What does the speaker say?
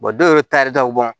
dɔw yɛrɛ tari taw bɔn